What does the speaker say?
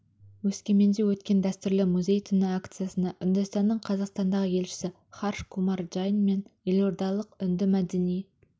өскеменде өткен дәстүрлі музей түні акциясына үндістанның қазақстандағы елшісі харш кумар джайн мен елордалық үнді мәдени